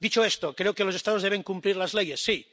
Dicho esto, creo que los Estados deben cumplir las leyes, sí.